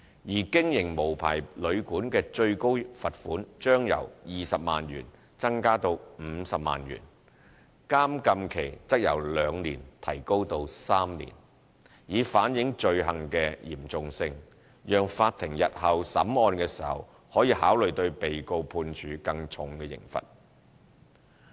而經營無牌旅館的最高罰款將由20萬元增加至50萬元，監禁期則由兩年提高至3年，以反映罪行的嚴重性，讓法庭日後審案時可考慮對被告判處更重刑罰。